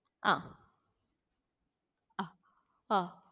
അഹ് ആഹ് ആ